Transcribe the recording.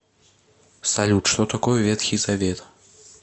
салют что такое ветхий завет